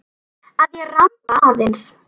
Að ég ramba aðeins.